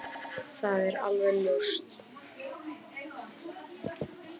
Það er alveg ljóst